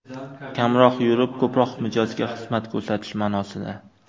Kamroq yurib, ko‘proq mijozga xizmat ko‘rsatish ma’nosida.